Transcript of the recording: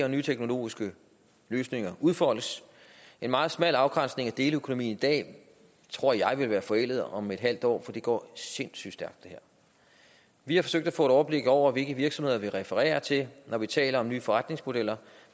og nye teknologiske løsninger kommer og udfoldes en meget smal afgrænsning af deleøkonomien i dag tror jeg vil være forældet om et halvt år for det her går sindssygt stærkt vi har forsøgt at få et overblik over hvilke virksomheder vi refererer til når vi taler om nye forretningsmodeller